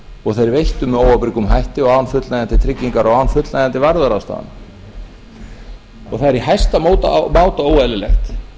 og þeir veittu með óábyrgum hætti og án fullnægjandi tryggingar og án fullnægjandi varúðarráðstafana það er í hæsta máta óeðlilegt